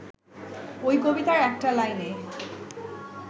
ওই কবিতার একটা লাইনে